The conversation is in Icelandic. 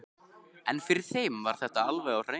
En fyrir þeim var þetta alveg á hreinu.